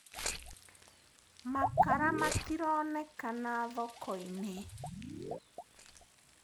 Makara matironekana thokoinĩ.